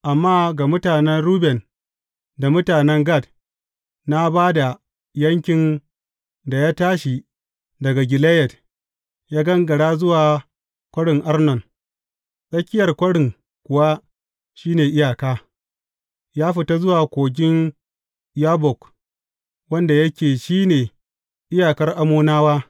Amma ga mutanen Ruben da mutanen Gad, na ba da yankin da ya tashi daga Gileyad, ya gangara zuwa Kwarin Arnon tsakiyar kwarin kuwa shi ne iyaka ya fita zuwa Kogin Yabbok, wanda yake shi ne iyakar Ammonawa.